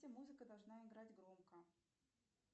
музыка должна играть громко